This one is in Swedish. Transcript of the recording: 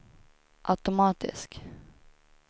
automatisk